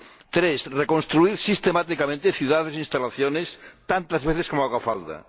tres, reconstruir sistemáticamente ciudades e instalaciones tantas veces como haga falta